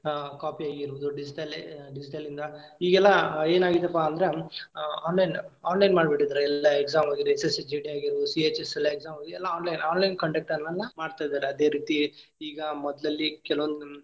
ಆ copy ಆಗಿರಬಹುದು digital digital ಲಿಂದ ಈಗೆಲ್ಲಾ ಏನಾಗೈತಿಪಾ ಅಂದ್ರ online online ಮಾಡಿಬಿಟ್ಟಿದಾರ ಎಲ್ಲಾ exam CHSL exam ಎಲ್ಲಾ online conduct ನ್ನ ಮಾಡ್ತಾ ಇದ್ದರ ಅದೇ ರೀತಿ ಈಗ ಮೊದ್ಲಿಲ್ಲಿ ಕೆಲವೊಂದ.